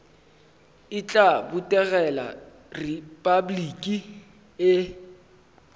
e tla botegela repabliki le